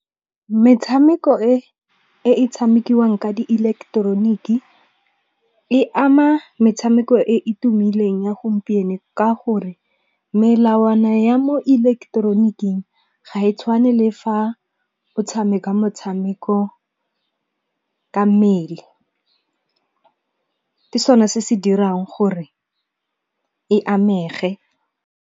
Metshameko e e tshamekiwang ka di ileketeroniki, e ama metshameko e e tumileng ya gompieno. Ka gore melawana ya mo ileketeroniking ga e tshwane le fa o tshameka motshameko ka mmele. Ke sone se se dirang gore e amege.